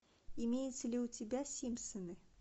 имеются ли у тебя симпсоны